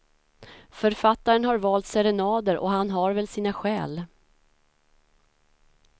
Författaren har valt serenader, och han har väl sina skäl.